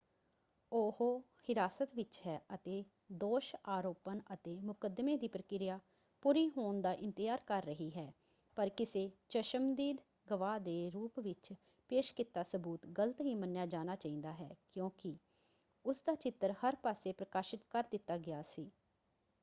ਉਹ ਹਿਰਾਸਤ ਵਿੱਚ ਹੈ ਅਤੇ ਦੋਸ਼ ਆਰੋਪਣ ਅਤੇ ਮੁਕੱਦਮੇ ਦੀ ਪ੍ਰਕਿਰਿਆ ਪੂਰੀ ਹੋਣ ਦਾ ਇੰਤਜ਼ਾਰ ਕਰ ਰਹੀ ਹੈ ਪਰ ਕਿਸੇ ਚਸ਼ਮਦੀਦ ਗਵਾਹ ਦੇ ਰੂਪ ਵਿੱਚ ਪੇਸ਼ ਕੀਤਾ ਸਬੂਤ ਗਲਤ ਹੀ ਮੰਨਿਆ ਜਾਣਾ ਚਾਹੀਦਾ ਹੈ ਕਿਉਂਕਿ ਉਸ ਦਾ ਚਿੱਤਰ ਹਰ ਪਾਸੇ ਪ੍ਰਕਾਸ਼ਿਤ ਕਰ ਦਿੱਤਾ ਗਿਆ ਸੀ।